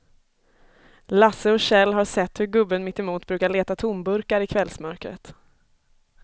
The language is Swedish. Lasse och Kjell har sett hur gubben mittemot brukar leta tomburkar i kvällsmörkret.